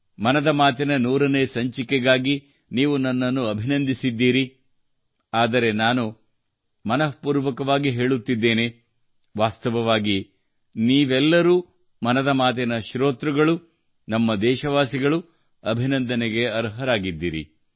ಮನದ ಮಾತಿನ 100 ನೇ ಸಂಚಿಕೆಗಾಗಿ ನೀವು ನನ್ನನ್ನು ಅಭಿನಂದಿಸಿದ್ದೀರಿ ಆದರೆ ನಾನು ಮನಃ ಪೂರ್ವಕವಾಗಿ ಹೇಳುತ್ತಿದ್ದೇನೆ ವಾಸ್ತವವಾಗಿ ನೀವೆಲ್ಲರೂ ಮನದ ಮಾತಿನ ಶ್ರೋತೃಗಳು ನಮ್ಮ ದೇಶವಾಸಿಗಳು ಅಭಿನಂದನೆಗೆ ಅರ್ಹರಾಗಿದ್ದೀರಿ